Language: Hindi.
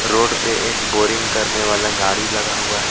रोड पे एक बोरिंग करने वाला गाड़ी लगा हुआ है.